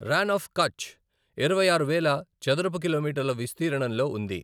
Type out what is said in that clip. రాన్ of Kutch ఇరవై ఆరు వేల చదరపు కిలోమీటర్ల విస్తీర్ణంలో ఉంది.